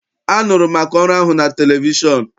Anụrụ m maka ọrụ ahụ na televishọn.